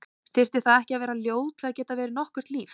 Þyrfti það ekki að vera ljóð til að geta verið nokkurt líf?